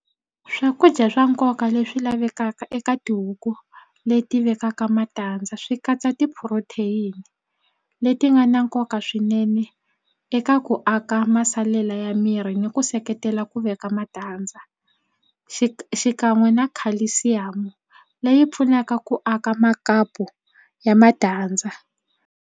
Swakudya swa nkoka leswi lavekaka eka tihuku leti vekaka matandza swi katsa ti-protein leti nga na nkoka swinene eka ku aka masalela ya miri ni ku seketela ku veka matandza xikan'we na calcium leyi pfunaka ku aka makapu ya matandza.